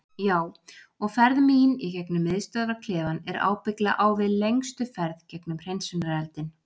Já og ferð mín í gegnum miðstöðvarklefann er ábyggilega á við lengstu ferð gegnum hreinsunareldinn.